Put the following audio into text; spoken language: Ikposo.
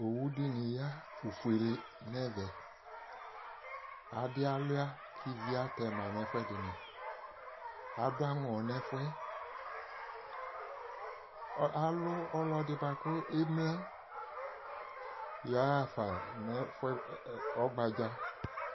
Owu dɩnɩ ya fufuele nʋ ɛvɛ Adɩ alʋɩa kʋ ivi atɛma nʋ ɛfʋɛdɩnɩ Adʋ aŋɔ nʋ ɛfʋ yɛ Ɔ alʋ ɔlɔdɩ bʋa kʋ emlǝ yɔɣa fa nʋ ɛfʋ yɛ ɛ ɔgbadza